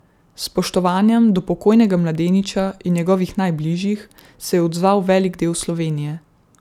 S spoštovanjem do pokojnega mladeniča in njegovih najbližjih se je odzval velik del Slovenije.